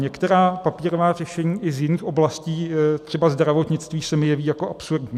Některá papírová řešení i z jiných oblastí, třeba zdravotnictví, se mi jeví jako absurdní.